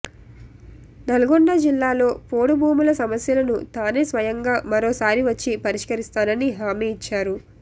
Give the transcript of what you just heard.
నల్లగొండ జిల్లాలో పోడు భూముల సమస్యలను తానే స్వయంగా మరోసారి వచ్చి పరిష్కరిస్తానని హామీనిచ్చారు